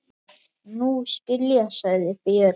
Nú skil ég, sagði Björg.